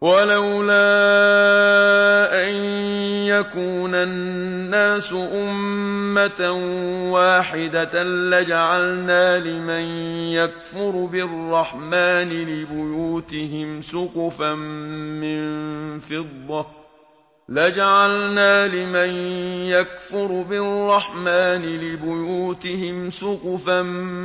وَلَوْلَا أَن يَكُونَ النَّاسُ أُمَّةً وَاحِدَةً لَّجَعَلْنَا لِمَن يَكْفُرُ بِالرَّحْمَٰنِ لِبُيُوتِهِمْ سُقُفًا